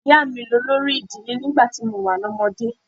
Ìyá mi ni olórí ìdílé nígbà tí mo wà lọ́mọdé.